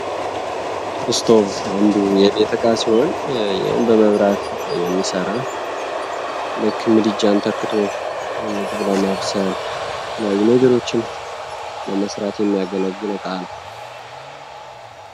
ስቶቭ አንዱ የቤት ዕቃ ሲሆን ይህም በመብራት የሚሠራ ልክ ምድጃን ተክቶ ምግብ ለማብሳል ነገሮችን ለመስራት የሚያገለግል ዕቃ ነው።